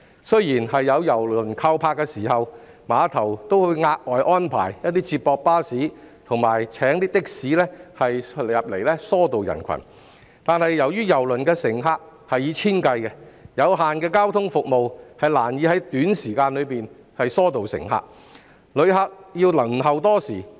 雖然有郵輪靠泊時，碼頭會額外安排接駁巴士及的士疏導人群，但由於郵輪的乘客數以千計，有限的交通服務難以在短時間內疏導乘客，旅客還是需要輪候多時。